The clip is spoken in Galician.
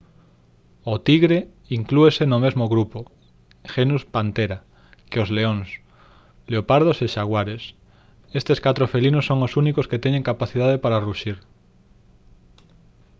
o tigre inclúese no mesmo grupo genus panthera que os leóns leopardos e xaguares. estes catro felinos son os únicos que teñen capacidade para ruxir